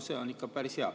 See on ikka päris hea.